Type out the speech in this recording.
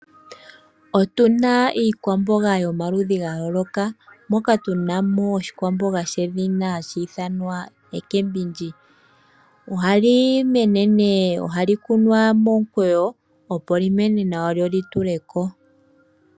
Otuna iikwamboga yomaludhi ga yooloka moka tuna mo oshikwamboga shedhina hashi ithanwa omboga yuushimba ohali mene nenge ohali kunwa momukweyo opo lyi mene nawa lyo lyi tuleko.